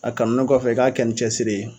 A kanunen kɔfɛ, i k'a kɛ ni cɛsiri ye